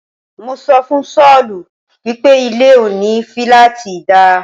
Mo sọ fún Sọ́ọ̀lù wípé ilé òní filaati dá